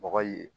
Bɔgɔ ye